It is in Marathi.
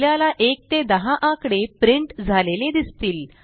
आपल्याला 1 ते 10 आकडे प्रिंट झालेले दिसतील